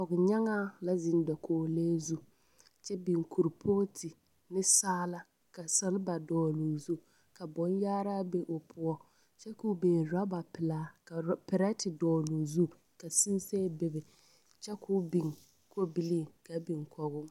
Pɔgenyaŋaa la zeŋ dakogi lee zu kyɛ biŋ korepooti ne saala ka seleba dɔgele zu. Ka boŋyaaraa be o poɔ kyɛ ka o biŋ oraba pelee ka orɔ… pɛretɛ dɔgele o zu ka sensɛ bebe kyɛ ka o biŋ kobilii ka biŋ kɔge o.